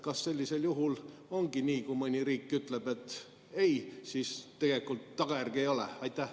Kas sellisel juhul ongi nii, et kui mõni riik ütleb ei, siis tagajärgi ei ole?